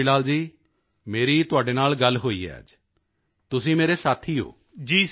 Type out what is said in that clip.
ਵੇਖੋ ਕਿਸ਼ੋਰੀ ਲਾਲ ਜੀ ਮੇਰੀ ਤੁਹਾਡੇ ਨਾਲ ਗੱਲ ਹੋਈ ਹੈ ਅੱਜ ਤੁਸੀਂ ਮੇਰੇ ਸਾਥੀ ਹੋ